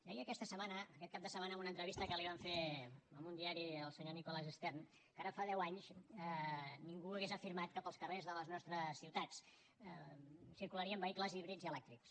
deia aquesta setmana aquest cap de setmana en una entrevista que li van fer en un diari el senyor nicholas stern que ara fa deu anys ningú hauria afirmat que pels carrers de les nostres ciutats hi circularien vehicles híbrids i elèctrics